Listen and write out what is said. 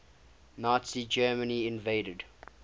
nazi germany invaded